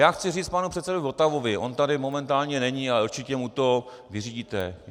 Já chci říct panu předsedovi Votavovi - on tady momentálně není, ale určitě mu to vyřídíte.